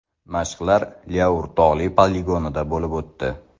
Mashqlar Lyaur tog‘li poligonida bo‘lib o‘tdi.